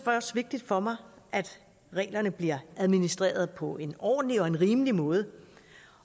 også vigtigt for mig at reglerne bliver administreret på en ordentlig og rimelig måde